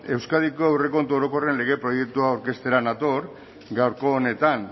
euskadiko aurrekontu orokorren lege proiektua aurkeztera nator gaurko honetan